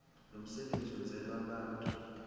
lomsebenzi wenzelwe abantu